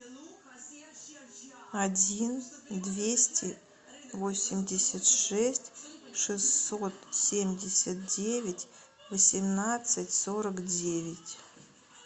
один двести восемьдесят шесть шестьсот семьдесят девять восемнадцать сорок девять